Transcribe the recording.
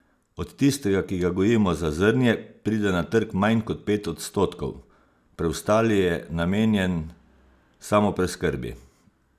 Od tistega, ki ga gojimo za zrnje, pride na trg manj kot pet odstotkov, preostali je namenjen samopreskrbi.